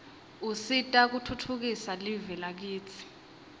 usita kutfutfukisa live lakitsi